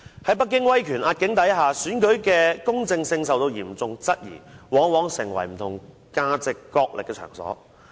在北京威權壓境的情況下，選舉的公正性受到嚴重質疑，往往成為不同價值角力的場所。